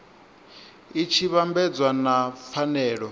i tshi vhambedzwa na pfanelo